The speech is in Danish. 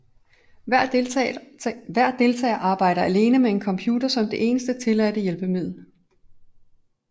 Hver deltager arbejder alene med en computer som det eneste tilladte hjælpemiddel